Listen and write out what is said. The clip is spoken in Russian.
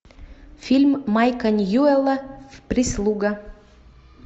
фильм майка ньюэлла прислуга